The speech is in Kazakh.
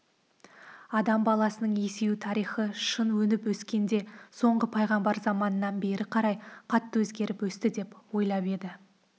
адам баласының есею тарихы шын өніп-өскенде соңғы пайғамбар заманынан бері қарай қатты өзгеріп өсті деп ойлап еді